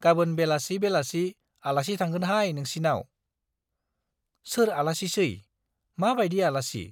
गाबोन बेलासि बेलासि आलासि थांगोनहाय नोंसिनाव। सोर आलासिसै, मा बाइदि आलासि ?